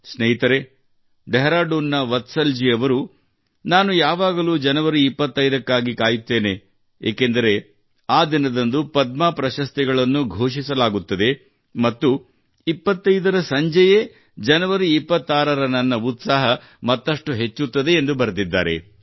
ಸ್ನೇಹಿತರೇ ಡೆಹ್ರಾಡೂನ್ನ ವತ್ಸಲ್ ಜೀ ಅವರು ನಾನು ಯಾವಾಗಲೂ ಜನವರಿ 25 ಕ್ಕಾಗಿ ಕಾಯುತ್ತೇನೆ ಏಕೆಂದರೆ ಆ ದಿನದಂದು ಪದ್ಮ ಪ್ರಶಸ್ತಿಗಳನ್ನು ಘೋಷಿಸಲಾಗುತ್ತದೆ ಮತ್ತು 25 ರ ಸಂಜೆಯೇ ಜನವರಿ 26 ರ ನನ್ನ ಉತ್ಸಾಹ ಮತ್ತಷ್ಟು ಹೆಚ್ಚುತ್ತದೆ ಎಂದು ಬರೆದಿದ್ದಾರೆ